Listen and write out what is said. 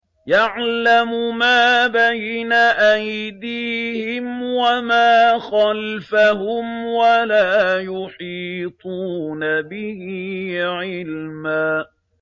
يَعْلَمُ مَا بَيْنَ أَيْدِيهِمْ وَمَا خَلْفَهُمْ وَلَا يُحِيطُونَ بِهِ عِلْمًا